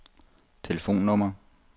telefonnummer